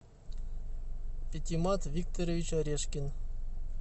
пятимат викторович орешкин